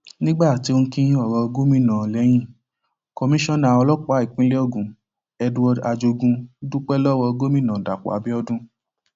nígbà tó ń kín ọrọ gómìnà lẹyìn komisanna ọlọpàá ìpínlẹ ogun edward ajogun dúpẹ lọwọ gómìnà dapò abiodun